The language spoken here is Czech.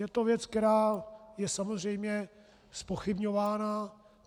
Je to věc, která je samozřejmě zpochybňována.